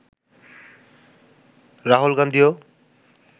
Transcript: Rahul গান্ধীও